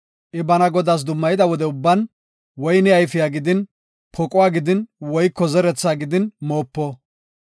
I bana Godaas dummayida wode ubban, woyne ayfiya gidin poquwa gidin woyko kochaa gidin moopo.